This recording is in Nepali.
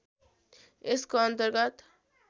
यसको अन्तर्गत